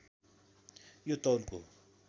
यो तौलको